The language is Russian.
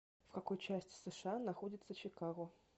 в какой части сша находится чикаго